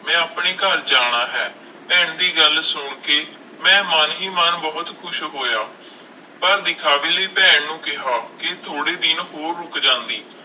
ਮੈਂ ਆਪਣੇ ਘਰ ਜਾਣਾ ਹੈ, ਭੈਣ ਦੀ ਗੱਲ ਸੁਣ ਕੇ ਮੈਂ ਮਨ ਹੀ ਮਨ ਬਹੁਤ ਖ਼ੁਸ਼ ਹੋਇਆ, ਪਰ ਵਿਖਾਵੇ ਲਈ ਭੈਣ ਨੂੰ ਕਿਹਾ ਕਿ ਥੋੜ੍ਹੇ ਦਿਨ ਹੋਰ ਰੁੱਕ ਜਾਂਦੀ।